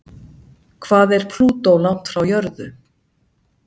Hvað er Plútó langt frá jörðu?